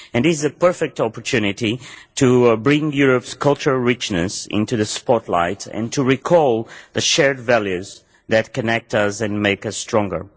This is a perfect opportunity to bring Europe's cultural richness into the spotlight and to recall the shared values that connect us and make us stronger.